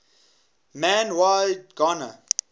man y gana